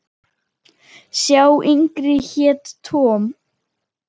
Sá yngri hét Tom.